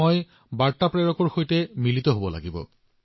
যিয়ে এই কিতাপখন বাহিৰত এৰি থ গৈছিল তেওঁক লগ পোৱাৰ ইচ্ছা হল